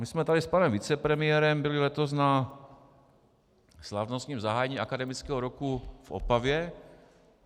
My jsme tady s panem vicepremiérem byli letos na slavnostním zahájení akademického roku v Opavě.